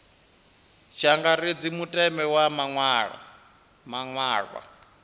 tshi angaredzwa mutevhe wa maṅwalwa